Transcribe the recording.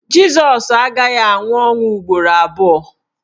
Jịsọs agaghị anwụ ọnwụ ugboro abụọ